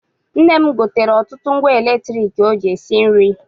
Nne m gotere ọtụtụ ngwa latriki ọ ji esi nri.